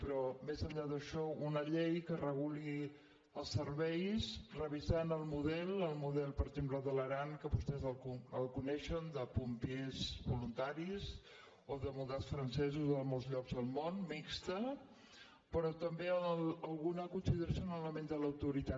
però més enllà d’això una llei que reguli els serveis revisant el model el model per exemple de l’aran que vostès el coneixen de pompiers voluntarismodels francesos o de molts llocs del món mixt però també alguna consideració en l’element de l’autoritat